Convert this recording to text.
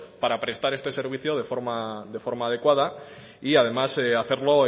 para prestar este servicio de forma adecuada y además hacerlo